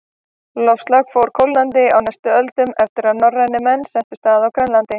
Loftslag fór kólnandi á næstu öldum eftir að norrænir menn settust að á Grænlandi.